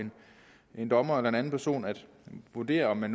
en dommer eller en anden person at vurdere om der